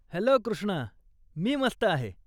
Hello Krishna, मी मस्त आहे.